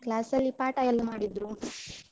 Class ಅಲ್ಲಿ ಪಾಠ ಎಲ್ಲ ಮಾಡಿದ್ರು.